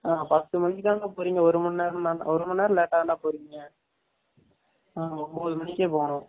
ஆ பத்து மனிக்கு தான போரிங்க ஒரு மனெரம் தான ஒரு மனெரம் லேடா தான போரிங்க, னாங்க ஒன்பது மனிகே போனும்